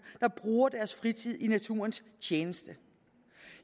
der bruger deres fritid i naturens tjeneste